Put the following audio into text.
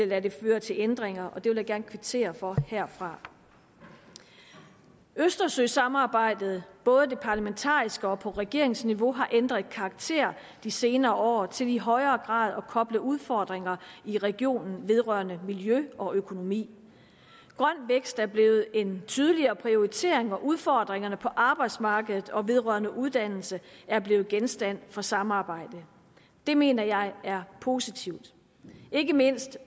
lade det føre til ændringer og det vil jeg gerne kvittere for herfra østersøsamarbejdet både det parlamentariske og på regeringsniveau har ændret karakter de senere år til i højere grad at koble udfordringer i regionen vedrørende miljø og økonomi grøn vækst er blevet en tydeligere prioritering og udfordringerne på arbejdsmarkedet og vedrørende uddannelse er blevet genstand for samarbejde det mener jeg er positivt ikke mindst